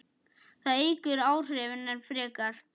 Það eykur áhrifin enn frekar.